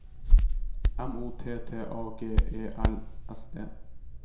M O T T A G E L S E